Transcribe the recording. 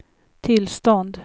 tillstånd